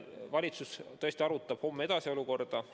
Valitsus tõesti arutab homme olukorda edasi.